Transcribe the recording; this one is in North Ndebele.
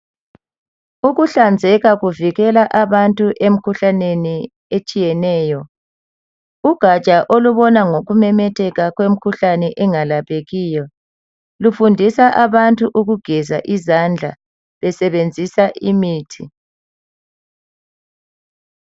Ukuhlanzeka kuvikela abantu emikhuhlaneni etshiyeneyo. Ugatsha olubona ngokumemetheka kwemikhuhlane engakaphekiyo lufundisa abantu ukugeza izandla besebenzisa imithi